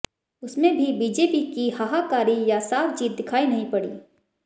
उसमें भी बीजेपी की हाहाकारी या साफ़ जीत दिखायी नहीं पड़ी